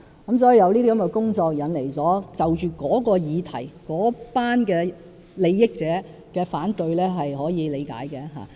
因此，這些工作引來該項議題的相關利益者的反對，是可以理解的。